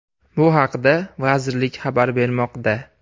Bu haqda vazirlik xabar bermoqda .